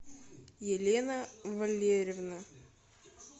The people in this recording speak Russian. елена валерьевна